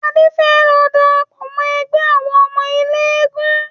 Adé fẹ́ lọ darapọ̀ mọ ẹgbẹ́ àwọn ọmọ eléégún